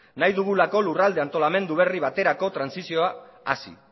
lurralde antolamendu berri baterako transizioa hasi